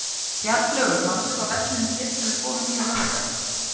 Bjarnlaugur, manstu hvað verslunin hét sem við fórum í á laugardaginn?